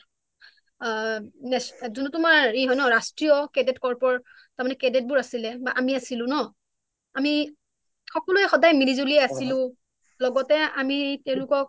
আ যিটো তোমাৰ ই হয় ন ৰাষ্ট্ৰীয় cadet corp ৰ তাৰ মানে cadet বোৰ আছিলে বা আমি আছিলোঁ ন আমি সকলোঁৱে সদায়মিলি যুলি আছিলোঁ লগতে আমি তেওঁলোকক